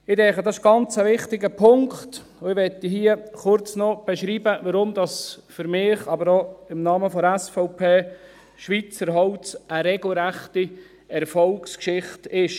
Ich denke, das ist ein ganz wichtiger Punkt, und ich möchte hier kurz noch beschreiben, warum das für mich, aber auch im Namen der SVP Schweizer Holz eine regelrechte Erfolgsgeschichte ist.